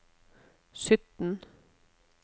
sytten